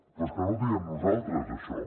però és que no ho diem nosaltres això